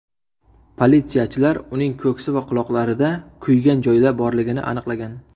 Politsiyachilar uning ko‘ksi va quloqlarida kuygan joylar borligini aniqlagan.